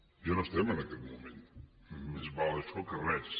ja no estem en aquest moment més val això que res